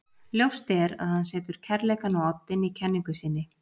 Ljóst er að hann setur kærleikann á oddinn í kenningu sinni.